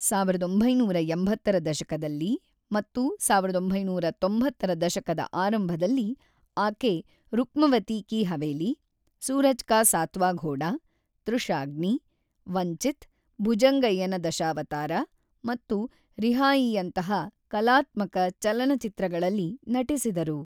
ಸಾವಿರದ ಒಂಬೈನೂರ ಎಂಬತ್ತರ ದಶಕದಲ್ಲಿ ಮತ್ತು ಸಾವಿರದ ಒಂಬೈನೂರ ತೊಂಬತ್ತರ ದಶಕದ ಆರಂಭದಲ್ಲಿ ಆಕೆ ರುಕ್ಮವತಿ ಕೀ ಹವೇಲಿ, ಸೂರಜ್ ಕಾ ಸಾತ್ವಾ ಘೋಡಾ, ತೃಷಾಗ್ನಿ, ವಂಚಿತ್, ಭುಜಂಗಯ್ಯನ ದಶಾವತಾರ ಮತ್ತು ರಿಹಾಯೀಯಂತಹ ಕಲಾತ್ಮಕ ಚಲನಚಿತ್ರಗಳಲ್ಲಿ ನಟಿಸಿದರು.